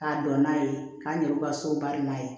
K'a dɔn n'a ye k'a ɲɛ u ka so bari n'a ye